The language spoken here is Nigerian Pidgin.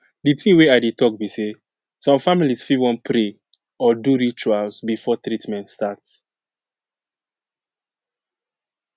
the thing wey i dey talk be say some families fit wan pray or do rituals before treatment start